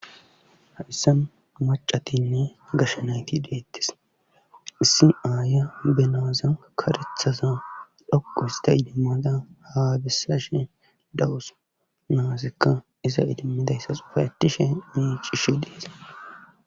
Hadhissa macatinne gashshanayti deettes issi aaya benaazan karethaza dhoqu hista idimmada haabissa shen dawus naasikka iza idimmidayssa sufaetishe mii cishe deesa.